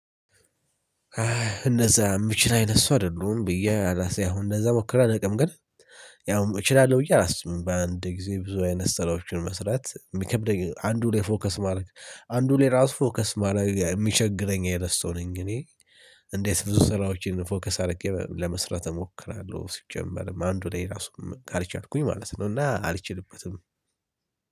አይ እነዛ የምችል አይነት እሱ አይደሉም ብዬ አላስብም አሁን እነዛ ሞክሬ አላውቅም ግን ያውም እችላለሁ ብየ አላስብም። በአንድ ጊዜ ብዙ አይነት ስራዎችን መስራት የሚከብደኝ አንዱን ፎከስ ማድረግ አንዱን የራሱ ፎከስ ማረግ የሚቸግረኝ አይነት ሰው ነኝ እኔ። እንዴት ብዙ ስራዎችን ፎከስ አድርጌ ለመስራት እሞክራለሁ ሲጀመርም አንዱ ላይ ራሱ ካልቻልኩኝ ማለት ነው። እና አልችልበትም።